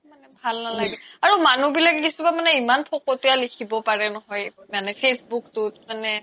ভাল নালাগে মানুহ বিলাক কিছুমান মানে ইমান ফকতিয়া লিখিব পাৰে নহয় মানে facebook তোত মানে